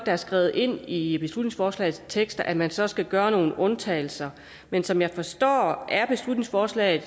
er skrevet i beslutningsforslaget at man så skal gøre nogle undtagelser men som jeg forstår det er beslutningsforslaget